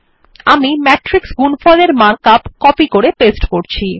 আমি ম্যাট্রিক্স গুণফল এর মার্ক আপ কপি করে পেস্ট করছি